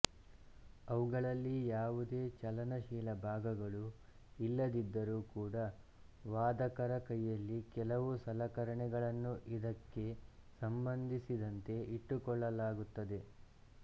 ಅವುಗಳಲ್ಲಿ ಯಾವುದೇ ಚಲನಶೀಲ ಭಾಗಗಳು ಇಲ್ಲದಿದ್ದರೂ ಕೂಡ ವಾದಕರ ಕೈಯಲ್ಲಿ ಕೆಲವು ಸಲಕರಣೆಗಳನ್ನು ಇದಕ್ಕೆ ಸಂಬಂಧಿಸಿದಂತೆ ಇಟ್ಟುಕೊಳ್ಳಲಾಗುತ್ತದೆ